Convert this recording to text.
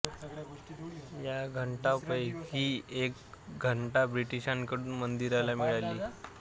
या घंटापैकी एक घंटा ब्रिटिशांकडून मंदिराला मिळाली आहे